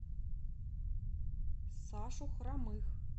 сашу хромых